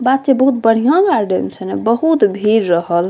बात छै बहुत बढ़िया गार्डन छै ने बहुत भीड़ रहल।